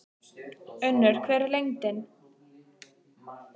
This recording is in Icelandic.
Unnur, hver er lendingin?